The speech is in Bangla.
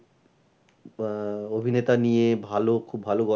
আহ অভিনেতা নিয়ে ভালো খুব ভালো গল্পের~